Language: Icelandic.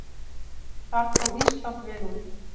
Þar kom Ísland vel út.